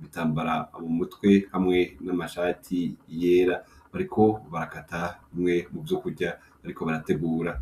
bitambara mu mutwe hamwe n'amashati iyera, ariko barakata umwe mu vyo kurya, ariko barategura.